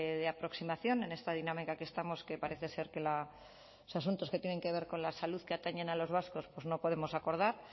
de aproximación en esta dinámica que estamos que parece ser que los asuntos que tienen que ver con la salud que atañen a los vascos no podemos acordar